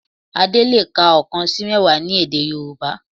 Adé le è ka oókan sí mẹ́wàá ní èdè Yorùbá